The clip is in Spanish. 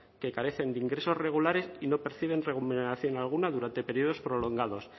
que carecen de ingresos regulares y no perciben remuneración alguna durante períodos prolongados